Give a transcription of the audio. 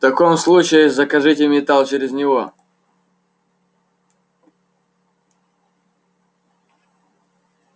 в таком случае закажите металл через него